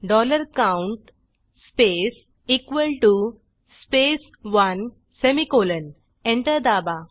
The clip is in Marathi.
dollar count space equal TO space 1 semicolon enter दाबा